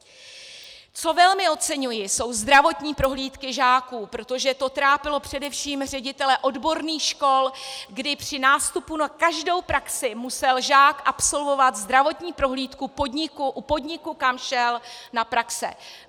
Co velmi oceňuji, jsou zdravotní prohlídky žáků, protože to trápilo především ředitele odborných škol, kdy při nástupu na každou praxi musel žák absolvovat zdravotní prohlídku u podniku, kam šel na praxi.